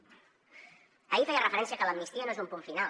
ahir feia referència que l’amnistia no és un punt final